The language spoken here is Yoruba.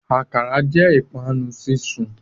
Akara jẹ ipanu sisun